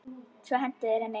Svo hentu þeir henni.